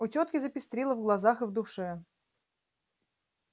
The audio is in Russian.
у тётки запестрило в глазах и в душе